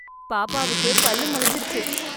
பாப்பாவுக்கு பல்லு முளைச்சிருச்சு!